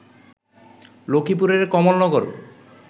লক্ষ্মীপুরের কমলনগর